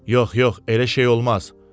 Yox, yox, elə şey olmaz.